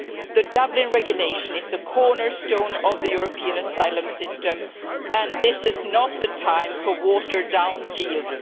The Dublin Regulation is the cornerstone of the European asylum system and this is not the time for watered-down deals.